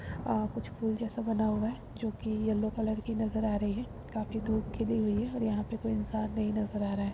अ कुछ फूल जैसे बना हुआ है जोकि येलो कलर की नजर आ रही है काफी धूप खिली हुई है और यहाँ पे कोई इंसान नहीं नजर आ रहा है।